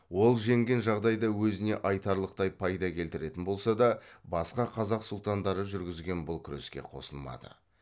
ол жеңген жағдайда өзіне айтарлықтай пайда келтіретін болса да басқа қазақ сұлтандары жүргізген бұл күреске қосылмады